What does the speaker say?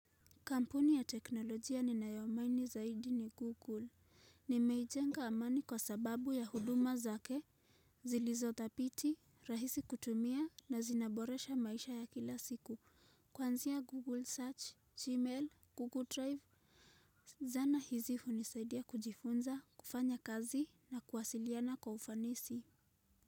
Kampuni ya teknolojia ninayoamini zaidi ni Google. Nimeijenga amani kwa sababu ya huduma zake. Zilizodhabiti, rahisi kutumia na zinaboresha maisha ya kila siku. Kuanzia Google Search, Gmail, Google Drive. Zana hizi hunisaidia kujifunza, kufanya kazi na kuwasiliana kwa ufanisi.